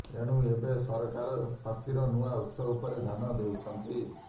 ଏଣୁ ଏବେ ସରକାର ଶକ୍ତିର ନୂଆ ଉତ୍ସ ଉପରେ ଧ୍ୟାନ ଦେଉଛନ୍ତି